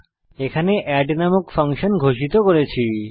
আমরা এখানে এড নামক একটি ফাংশন ঘোষিত করেছি